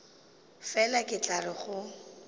fela ke tla re go